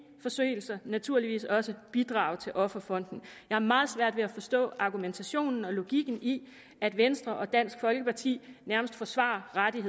forseelser naturligvis også bidrage til offerfonden har meget svært ved at forstå argumentationen og logikken i at venstre og dansk folkeparti nærmest forsvarer retten